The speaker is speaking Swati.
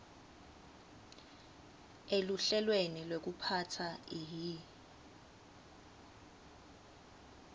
eluhlelweni lwekuphatsa ihi